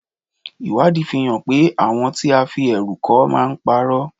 Ìwádìí fi hàn wípé àwọn tí a fi ẹ̀rù kọ́ máa ń pa'rọ́.